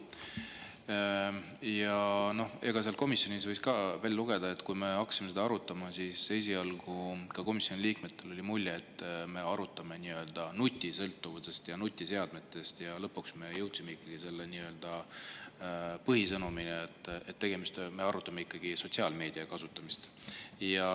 Komisjonis võis välja lugeda ka seda, et kui me hakkasime arutama, siis esialgu oli ka komisjoni liikmetel mulje, et me arutame nii-öelda nutisõltuvust ja nutiseadmete, aga lõpuks me jõudsime ikkagi selle põhisõnumini, et me arutame ikkagi sotsiaalmeedia kasutamist.